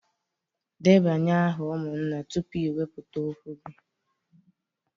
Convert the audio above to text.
Debanye aha umunna tupu i weputa okwu gi